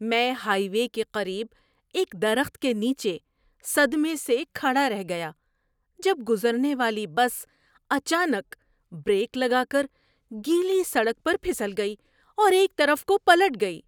میں highway کے قریب ایک درخت کے نیچے صدمے سے کھڑا رہ گیا جب گزرنے والی بس اچانک بریک لگا کر گیلی سڑک پر پھسل گئی اور ایک طرف کو پلٹ گئی۔